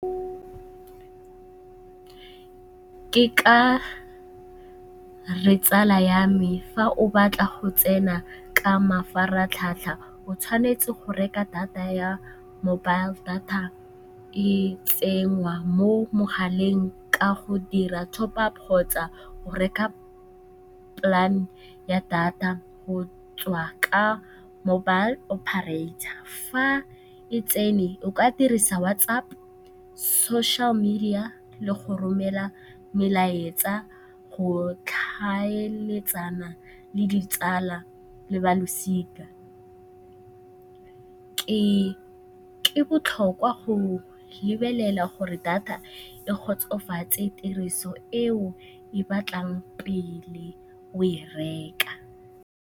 Ke ka re tsala ya me fa o batla go tsena ka mafaratlhatlha o tshwanetse go reka data ya mobile data, e tsengwa mo mogaleng ka go dira top-up kgotsa go reka plan-e ya data go tswa ka mobile operator. Fa e tsene o ka dirisa WhatsApp, social media le go romela melaetsa go tlhaeletsana le ditsala le ba losika. Ke botlhokwa go lebelela gore data e kgotsofatse tiriso eo e batlang pele o e reka.